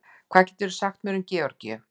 Hvað getur þú sagt mér um Georgíu?